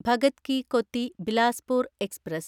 Bhagat ki Kothi Bilaspur express